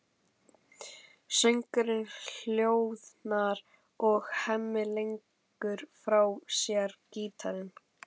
Söngurinn hljóðnar og Hemmi leggur frá sér gítarinn.